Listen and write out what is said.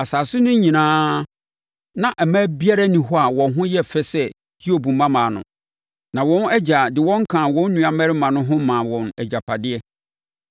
Asase no so nyinaa, na mmaa biara nni hɔ a wɔn ho yɛ fɛ sɛ Hiob mmammaa no, na wɔn agya de wɔn kaa wɔn nuammarima no ho maa wɔn agyapadeɛ.